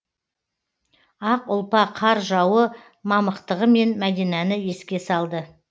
ақ ұлпа қар жауы мамықтығымен мәдинані еске салды